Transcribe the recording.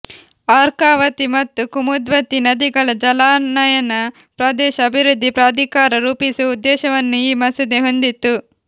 ಅರ್ಕಾವತಿ ಮತ್ತು ಕುಮುದ್ವತಿ ನದಿಗಳ ಜಲಾನಯನ ಪ್ರದೇಶ ಅಭಿವೃದ್ಧಿ ಪ್ರಾಧಿಕಾರ ರೂಪಿಸುವ ಉದ್ದೇಶವನ್ನು ಈ ಮಸೂದೆ ಹೊಂದಿತ್ತು